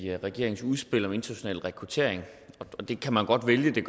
regeringens udspil om international rekruttering det kan man godt vælge det